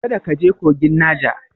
Kada ka je kogin Naja!